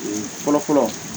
fɔlɔ fɔlɔ